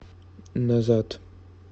назад